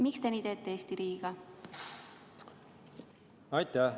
Miks te Eesti riigiga nii teete?